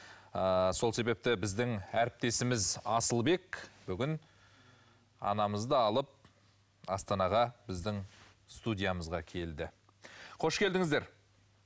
ыыы сол себепті біздің әріптесіміз асылбек бүгін анамызды алып астанаға біздің студиямызға келді қош келдіңіздер